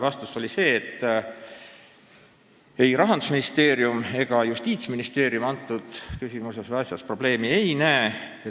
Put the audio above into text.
Vastus oli selline, et ei Rahandusministeerium ega Justiitsministeerium ei näe selles küsimuses või asjas probleemi.